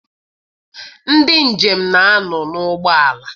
Ndị njem na-anọ n'ụgbọala.